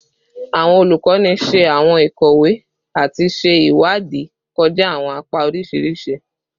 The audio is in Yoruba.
Awọn olukọni ṣe awọn ikowe ati ṣe iwadii kọja awọn apa oriṣiriṣi